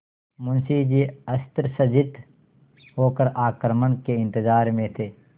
मुंशी जी अस्त्रसज्जित होकर आक्रमण के इंतजार में थे